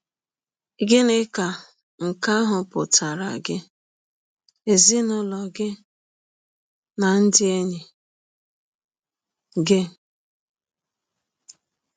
Gịnị ka nke ahụ pụtaara gị, ezinụlọ gị, na ndị enyi gị?